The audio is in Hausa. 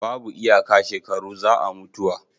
babu iyaka shekaru za a mutuwa